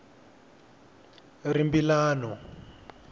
rimbilano